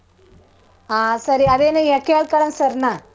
ಹಾ ಸರಿ. ಅದೇನೋ ಕೇಳ್ಕಳನ್ sir ನ.